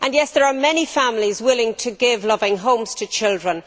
Yes, there are many families willing to give loving homes to children.